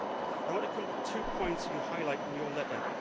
I want to come to two points you highlight in your letter.